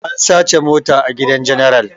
An sace mota a gidan general